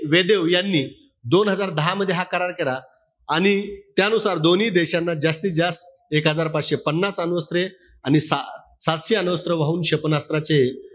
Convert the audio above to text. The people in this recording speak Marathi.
वेदेव यांनी दोन हजार दहामध्ये हा करार केला. आणि त्यानुसार दोन्ही देशांना जास्तीत जास्त एक हजार पाचशे पन्नास अणुअस्त्रें आणि सा सातशे अणुअस्त्र वाहून क्षेपणास्त्राचे,